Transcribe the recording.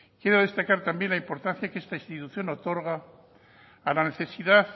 quiero destacar también la importancia que esta institución otorga a la necesidad